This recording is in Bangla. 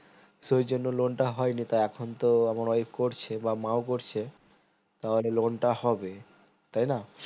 সেই জন্য loan টা হয়নি তো এখন তো আমার wife করছে বা মা ও করছে আর loan টা হবে তাই না